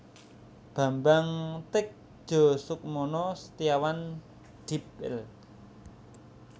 Bambang Tedjasukmana Setiawan Dipl